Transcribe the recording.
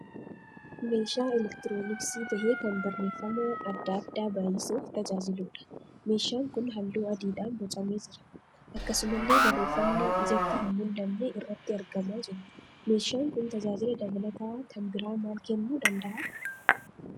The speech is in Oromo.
Meeshaa electrooniksii tahee kan barreeffama adda addaa baayyisuuf tajaajiluudha. Meeshaan kun halluu adiidhaan boocamee jira. Akkasumallee barreeffamni ijatti hin mul'anne irratti argamaa jiru. Meeshaan kun tajaajila dabalataa kan biraa maal kennuu dandahalaa?